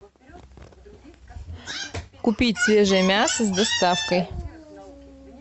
купить свежее мясо с доставкой